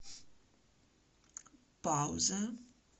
пауза